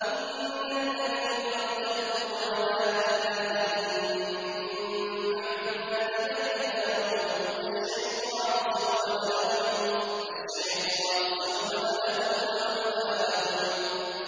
إِنَّ الَّذِينَ ارْتَدُّوا عَلَىٰ أَدْبَارِهِم مِّن بَعْدِ مَا تَبَيَّنَ لَهُمُ الْهُدَى ۙ الشَّيْطَانُ سَوَّلَ لَهُمْ وَأَمْلَىٰ لَهُمْ